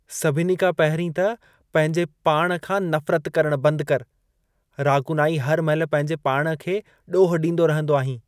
सभिनी खां पहिरीं त पंहिंजे पाण खां नफ़रत करण बंद कर। रागुनाही हर महिल पंहिंजे पाण खे ॾोह ॾींदो रहंदो आहीं।